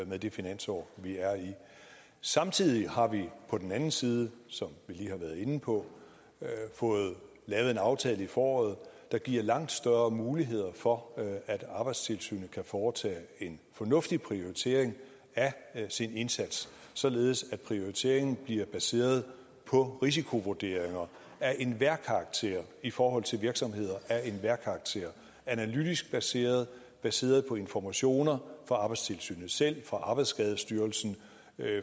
med det finansår vi er i samtidig har vi på den anden side som vi lige har været inde på fået lavet en aftale i foråret der giver langt større muligheder for at arbejdstilsynet kan foretage en fornuftig prioritering af sin indsats således at prioriteringen bliver baseret på risikovurderinger af enhver karakter i forhold til virksomheder af enhver karakter analytisk baseret baseret på informationer fra arbejdstilsynet selv fra arbejdsskadestyrelsen